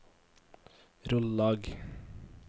Rollag